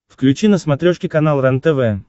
включи на смотрешке канал рентв